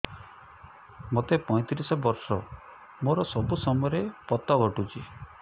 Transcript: ମୋତେ ପଇଂତିରିଶ ବର୍ଷ ମୋର ସବୁ ସମୟରେ ପତ ଘଟୁଛି